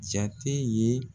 Jate ye